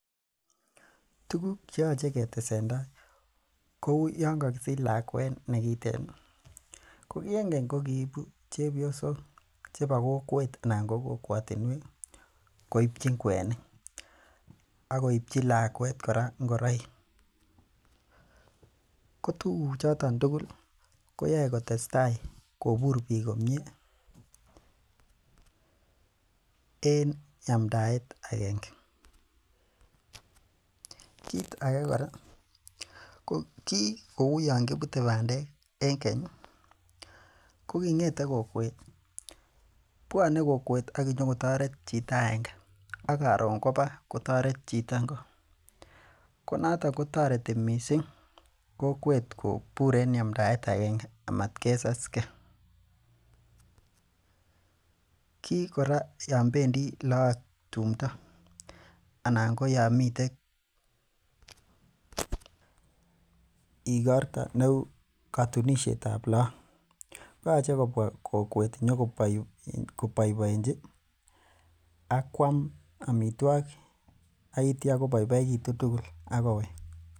Tuguk che yoche ketesenda kou yon kakisich lakwet ne kiten. Ko kienkeny ko kiibu chepyosok chebo kokwet anan ko kokwatinwek koipchin kwenik ak koipchi lakwet kora ingoroik. Kotuguchoton tugul koyoe kotestai kobur pik komie en yamndaet agenge. Kit age kora ko ki kouyon kipute bandek en keny ko kingete kokwet, bwone kokwet ak konyokotaret chito agenge ak karun koba kotaret chito ngo. Konoton kotareti mising kokwet kobur en yamndaet agenge amatkesaske. Kikora yon bendi look tumndo anan ko yomitek igorto neu katunisietab look koyache kobwa kokwet nyokoboiboenji ak kwam amitwogik ak koboiboitu tugul ak kowek.